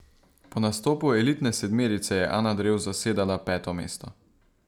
Po nastopu elitne sedmerice je Ana Drev zasedala peto mesto.